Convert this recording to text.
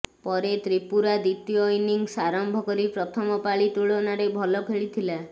ପରେ ତ୍ରିପୁରା ଦ୍ୱିତୀୟ ଇନିଂସ୍ ଆରମ୍ଭ କରି ପ୍ରଥମ ପାଳି ତୁଳନାରେ ଭଲ ଖେଳିଥିଲା